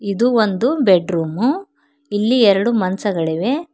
ಇದು ಒಂದು bedroom ಇಲ್ಲಿ ಎರಡು ಮಂಚಗಳಿವೆ.